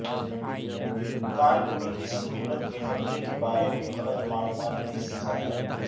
کان کنی کی سہولت کے خطرے کے بارے میں غلط معلومات بھی سزا ہے